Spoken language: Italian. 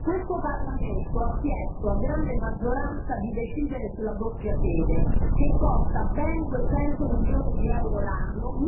Questo Parlamento ha chiesto, a grande maggioranza, di decidere sulla doppia sede, che costa ben 200 milioni di euro l'anno,